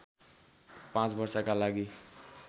पाँच वर्षका लागि